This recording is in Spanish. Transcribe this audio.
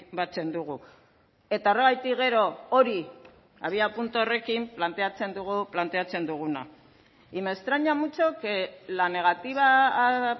batzen dugu eta horregatik gero hori abiapuntu horrekin planteatzen dugu planteatzen duguna y me extraña mucho que la negativa a